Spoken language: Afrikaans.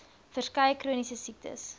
verskeie chroniese siektes